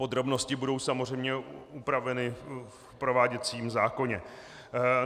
Podrobnosti budou samozřejmě upraveny v prováděcím zákoně.